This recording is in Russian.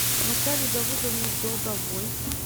наталье давыдовне долговой